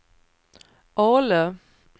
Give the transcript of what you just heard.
Ale